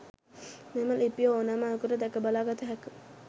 මෙම ලිපිය ඕනෑම අයෙකුට දැක බලා ගත හැක.